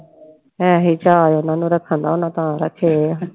ਇਹੀ ਚਾਅ ਉਹਨਾਂ ਨੂੰ ਰੱਖਣ ਦਾ ਹੋਣਾ ਤਾਂ ਰੱਖੇ ਹੈ।